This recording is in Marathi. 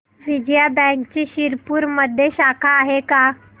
विजया बँकची शिरपूरमध्ये शाखा आहे का